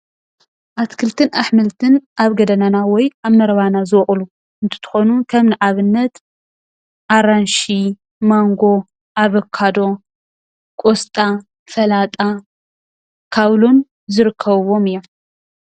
ኣትክልትን ኣሕምልትን ኣብ ገዳናና ወይ ኣብ መረባና ዝወቅሉ እንትኮኑ ከም ንኣብነት ኣራንሺ፣ ማንጎ፣ ኣበካዶ፣ ቆስጣ፣ ሰላጣ፣ ከዉሎን ዝርከብዎም እዮም፡፡